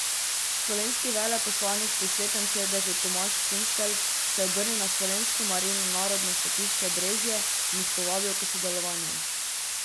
Slovenski veleposlanik pri Svetem sedežu Tomaž Kunstelj se je obrnil na Slovensko Marijino narodno svetišče Brezje in jih povabil k sodelovanju.